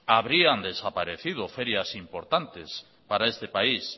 habrían desaparecido ferias importantes para este país